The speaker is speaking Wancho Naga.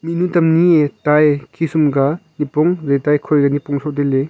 mihnu tam ani ye taye khisum ka nipong jaitaye khoika nipong soh tailey.